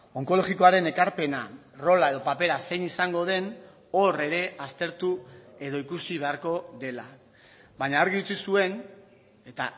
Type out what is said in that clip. onkologikoaren ekarpena rola edo papera zein izango den hor ere aztertu edo ikusi beharko dela baina argi utzi zuen eta